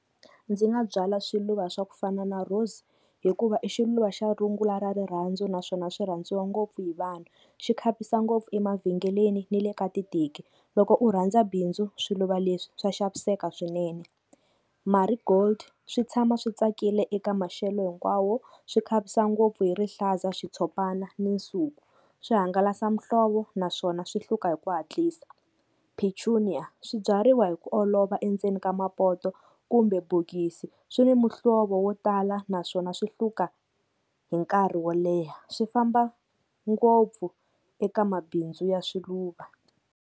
Ndzi nga byala swiluva swa ku fana na rose hikuva i xiluva xa rungula ra rirhandzu naswona swi rhandziwa ngopfu hi vanhu, xi khavisa ngopfu emavhengeleni ni le ka titeki loko u rhandza bindzu swiluva leswi swa xaviseka swinene. Marigold swi tshama swi tsakile eka maxelo hinkwawo, swi khavisa ngopfu hi rihlaza, xitshopana ni nsuku, swi hangalasa muhlovo naswona swi hluka hi ku hatlisa. Petunia swi byariwa wa hi ku olova endzeni ka mapoto kumbe bokisi, swi ni muhlovo wo tala naswona swi hluka hi nkarhi wo leha swi famba ngopfu eka mabindzu ya swiluva.